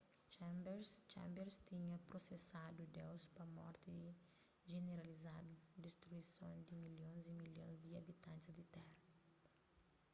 chambers tinha prosesadu deus pa morti jeneralizadu distruison di milhons y milhons di abitantis di téra